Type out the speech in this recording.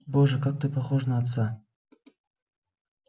боже как ты похож на отца